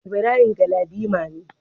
Ibrahim Galadima ne.